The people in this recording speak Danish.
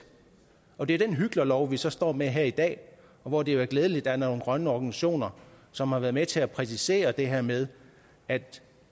og det er jo den hyklerlov vi så står med her i dag hvor det jo er glædeligt er nogle grønne organisationer som har været med til at præcisere det her med at